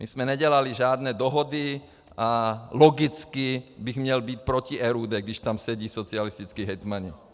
My jsme nedělali žádné dohody a logicky bych měl být proti RUD, když tam sedí socialističtí hejtmani.